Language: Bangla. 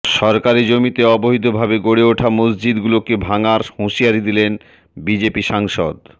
সরকারি জমিতে অবৈধ ভাবে গড়ে ওঠা মসজিদ গুলোকে ভাঙার হুঁশিয়ারি দিলেন বিজেপির সাংসদ